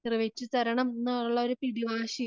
നിറവേറ്റി തരണമെന്നുള്ള പിടിവാശി